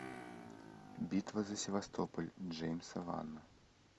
битва за севастополь джеймса вана